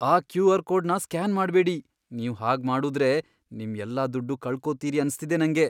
ಆ ಕ್ಯೂ.ಆರ್. ಕೋಡ್ನ ಸ್ಕ್ಯಾನ್ ಮಾಡ್ಬೇಡಿ. ನೀವ್ ಹಾಗ್ಮಾಡುದ್ರೆ, ನಿಮ್ ಎಲ್ಲಾ ದುಡ್ಡೂ ಕಳ್ಕೊತೀರಿ ಅನ್ಸ್ತಿದೆ ನಂಗೆ.